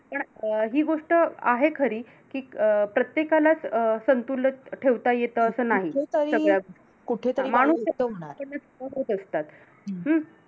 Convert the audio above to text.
पण अं हि गोष्ट आहे खरी कि अं प्रत्येकालाच अं संतुलित ठेवता येत असं नाही, सगळ्याचं गोष्टी. माणूस आहे असतात. हम्म